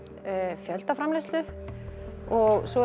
fjöldaframleiðslu og svo